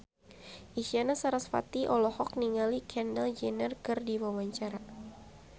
Isyana Sarasvati olohok ningali Kendall Jenner keur diwawancara